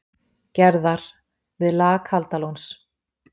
Gerðar, við lag Kaldalóns.